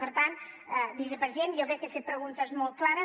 per tant vicepresident jo crec que he fet preguntes molt clares